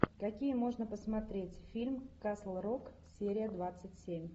какие можно посмотреть фильм касл рок серия двадцать семь